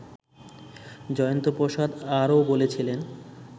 জয়ন্ত প্রসাদ আরও বলছিলেন